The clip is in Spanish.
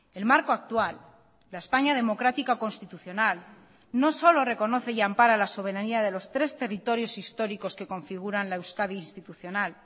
el marco actual la españa democrática constitucional no solo reconoce y ampara la soberanía de los tres territorios históricos que configuran la euskadi institucional